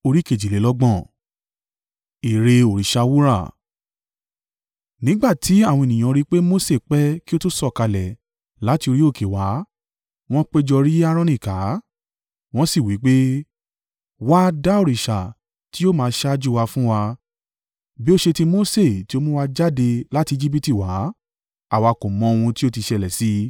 Nígbà tí àwọn ènìyàn rí i pé Mose pẹ́ kí ó tó sọ̀kalẹ̀ láti orí òkè wá, wọn péjọ yí Aaroni ká, wọ́n sì wí pé, “Wá, dá òrìṣà tí yóò máa ṣáájú wa fún wa. Bí ó ṣe ti Mose tí ó mú wa jáde láti Ejibiti wá, àwa kò mọ́ ohun tí ó ti ṣẹlẹ̀ sí i.”